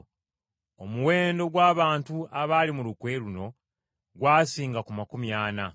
Omuwendo gw’abantu abaali mu lukwe luno gwasinga ku makumi ana.